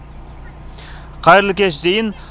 қайырлы кеш зейін